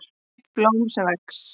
EITT BLÓM SEM VEX